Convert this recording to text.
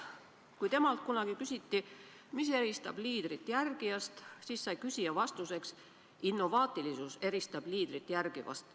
Kui temalt kunagi küsiti, mis eristab liidrit järgijast, siis sai küsija vastuseks: "Innovaatilisus eristab liidrit järgijast.